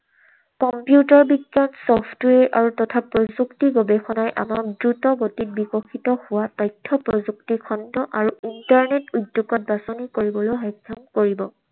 Computer বিষয়ত software তথা প্ৰযুক্তিৰ গৱেষণাই আমাক দ্ৰুতগতিত বিকশিত হোৱাত তথ্য প্ৰযুক্তি খণ্ড আৰু internet উদ্যোগত বাছনি কৰিবলৈ সক্ষম কৰিব।